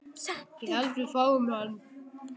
Ég held við fáum hann.